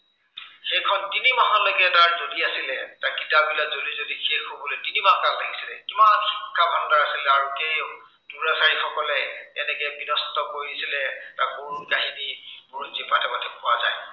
সেইখন তিনিমাহলৈকে তাত জ্বলি আছিলে, বা কিতাপবিলাক জ্বলি জ্বলি শেষ হ'বলৈ তিনি মাহ time লাগিছিলে। কিমান শিক্ষা ভাণ্ডাৰ আছিলে, তাৰ গোটেই দুৰাচাৰী সকলে কেনেকে বিধ্বস্ত কৰিছিলে তাৰ কৰুণ কাহিনী বুৰঞ্জীৰ পাতে পাতে পোৱা যায়।